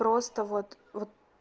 просто вот вот